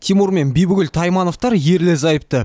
тимур мен бибігүл таймановтар ерлі зайыпты